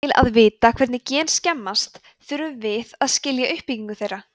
til að vita hvernig gen skemmast þurfum að við að skilja uppbyggingu þeirra